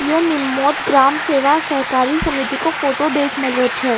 यो निमोद ग्राम सेवा सरकारी समिति का फोटो देख मलो छ।